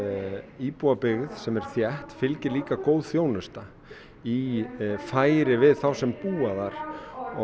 íbúabyggð sem er þétt fylgir líka góð þjónusta í færi við þá sem búa þar